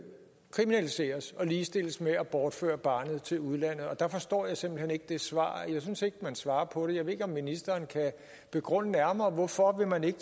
kriminaliseres og ligestilles med at bortføre barnet til udlandet og der forstår jeg simpelt hen ikke det svar jeg synes ikke at man svarer på det jeg ved ikke om ministeren kan begrunde nærmere hvorfor man ikke